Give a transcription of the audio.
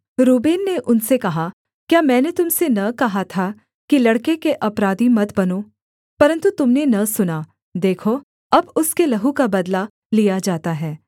Reuben ने उनसे कहा क्या मैंने तुम से न कहा था कि लड़के के अपराधी मत बनो परन्तु तुम ने न सुना देखो अब उसके लहू का बदला लिया जाता है